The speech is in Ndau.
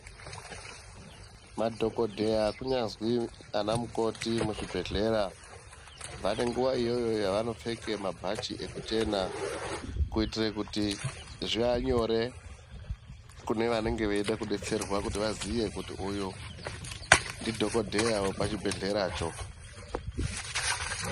Madhokodheya kunyazwi ana mukoti muzvibhehlera vane nguwa iyoyo yavanopfeke mabhachi ekuchena kuitire kuti zviva nyore kune vanenge veida kudetsera kuti vaziye kuti uyu ndidhokodheya wepachibhehleracho.